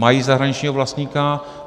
Mají zahraničního vlastníka.